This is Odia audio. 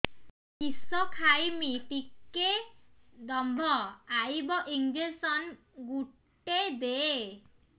କିସ ଖାଇମି ଟିକେ ଦମ୍ଭ ଆଇବ ଇଞ୍ଜେକସନ ଗୁଟେ ଦେ